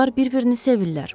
Onlar bir-birini sevirlər.